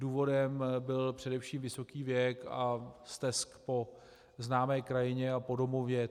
Důvodem byl především vysoký věk a stesk po známé krajině a po domově.